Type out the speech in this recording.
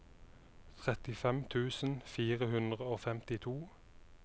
trettifem tusen fire hundre og femtito